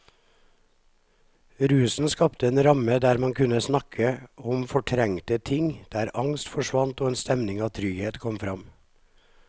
Rusen skapte en ramme der man kunne snakke om fortrengte ting, der angst forsvant og en stemning av trygghet kom fram.